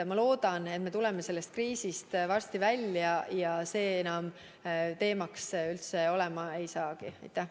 Ma loodan, et me tuleme sellest kriisist varsti välja ja see ei olegi enam teema.